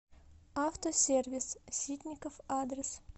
автосервис ситников адрес